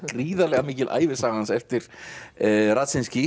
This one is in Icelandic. gríðarlega mikil ævisaga hans eftir